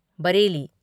Bareilly,